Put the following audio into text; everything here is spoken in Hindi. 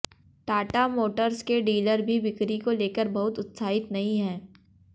टाटा मोटर्स के डीलर भी बिक्री को लेकर बहुत उत्साहित नहीं हैं